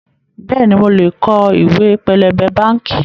Bẹ́ẹ̀ni, mo lè kọ ìwé pélébé báànkì